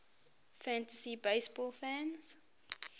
fantasy baseball fans